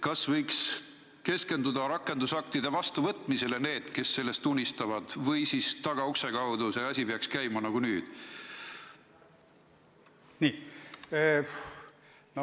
Kas need, kes sellest unistavad, võiks keskenduda rakendusaktide vastuvõtmisele või peaks see asi käima tagaukse kaudu nagu nüüd?